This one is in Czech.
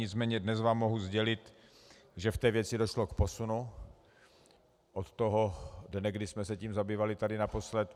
Nicméně dnes vám mohu sdělit, že v té věci došlo k posunu od toho dne, kdy jsme se tím zabývali tady naposled.